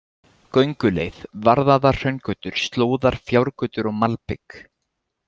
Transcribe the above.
Gönguleið: Varðaðar hraungötur, slóðar, fjárgötur og malbik.